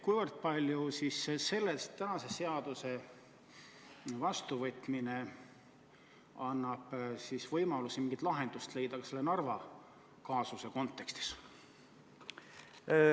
Kas selle tänase seaduse vastuvõtmine annab võimaluse leida mingisuguse lahenduse ka Narva kaasuse kontekstis?